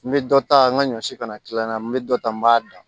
N bɛ dɔ ta n ka ɲɔ si kana tila n na n bɛ dɔ ta n b'a dan